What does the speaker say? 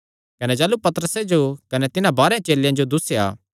कने ताह़लू पतरसे जो कने तिन्हां बारांह चेलेयां जो दुस्सेया